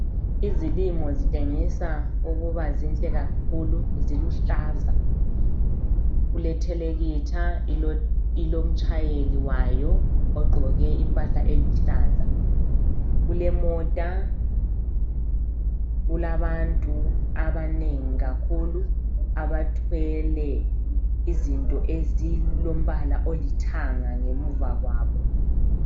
Izilimo zitshengisa ukuba zinhle kakhulu njalo ziluhlaza. Kulethelekitha ilomtshayeli wayo ogqoke impahla eluhlaza, kulemota, kulabantu abanengi kakhulu abathwele izinto ezilombala olithanga ngemuva kwabo.